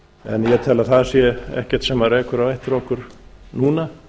en ég tel að það sé ekkert sem rekur á eftir okkur núna